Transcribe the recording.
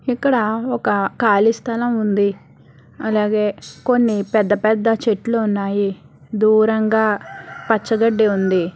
ఇక్కడ ఒక ఖాళీ స్థలం ఉంది అలాగే కొన్ని పెద్ద పెద్ద చెట్లు ఉన్నాయి దూరంగా పచ్చ గడ్డి ఉంది.